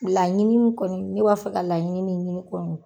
Laɲini kɔni ne b'a fɛ ka laɲini min ɲini kɔni